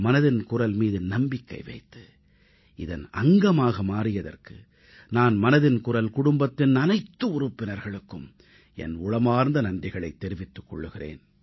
மனதின் குரல் மீது நம்பிக்கை வைத்து இதன் அங்கமாக மாறியதற்கு நான் மனதின் குரல் குடும்பத்தின் அனைத்து உறுப்பினர்களுக்கும் என் உளமார்ந்த நன்றிகளைத் தெரிவித்துக் கொள்கிறேன்